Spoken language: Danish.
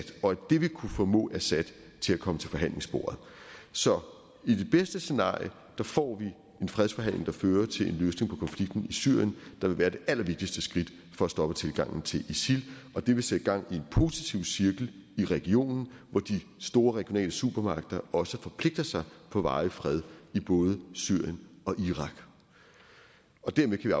og at det vil kunne formå assad til at komme til forhandlingsbordet så i det bedste scenarie får vi en fredsforhandling der fører til en løsning på konflikten i syrien der vil være det allervigtigste skridt for at stoppe tilgangen til isil og det vil sætte gang i en positiv cirkel i regionen hvor de store regionale supermagter også forpligter sig på varig fred i både syrien og irak og dermed kan